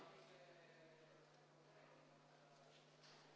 Aitäh!